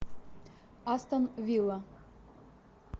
астон вилла